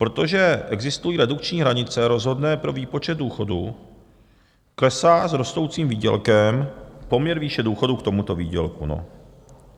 Protože existují redukční hranice rozhodné pro výpočet důchodu, klesá s rostoucím výdělkem poměr výše důchodu k tomuto výdělku.